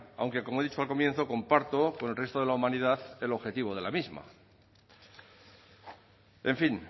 aunque como he dicho al comienzo comparto con el resto de la humanidad el objetivo de la misma en fin